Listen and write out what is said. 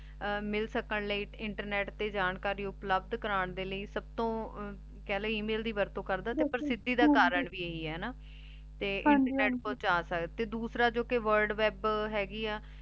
ਮਿਲ ਸਕਣ ਲੈ ਇੰਟਰਨੇਟ ਤੇ ਜਾਣਕਾਰੀ ਉਪਲਬਦ ਕਰਨ ਦੇ ਲੈ ਸਬਤੋਂ ਕਹ ਲੇ email ਦੀ ਵਰਤੁ ਕਰਦਾ ਤੇ ਪ੍ਰਸਿਧੀ ਦਾ ਕਰਨ ਵੀ ਇਹੀ ਆਯ ਤੇ ਤੇ ਡਾਸਰ ਜੋ ਕੇ word web ਹੇਗੀ ਆ